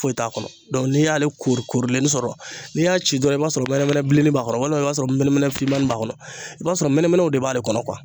Foyi t'a kɔnɔ n'i y'ale korikorilenni sɔrɔ n'i y'a ci dɔrɔn i b'a sɔrɔ mɛnɛmɛnɛ bilennin b'a kɔrɔ walima i b'a sɔrɔ mɛnɛmɛnɛ fimanin b'a kɔnɔ. I b'a sɔrɔ mɛnɛmɛnɛw de b'ale kɔnɔ .